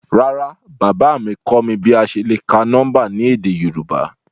Rárá, baba mi kọ mi bi a ṣe le ka nọmba ni édé Yorùbá?